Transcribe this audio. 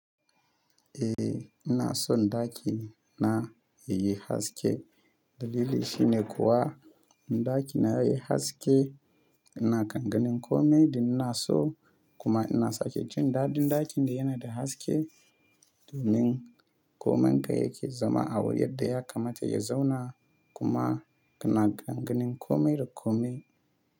Eh ina so ɗaki na yayi haske. Dalili shi ne kuwa ɗaki na ya yi haske, ina kan ganin kome da ina so kuma ina sake jin daɗin ɗakin da yana da haske domin komai ga yake zama abin yadda ya kamata ya zauna kuma ina ganin kome da kome.